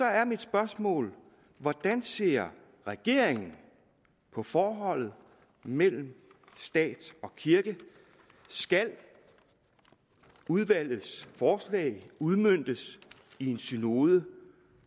er mit spørgsmål hvordan ser regeringen på forholdet mellem stat og kirke skal udvalgets forslag udmøntes i en synode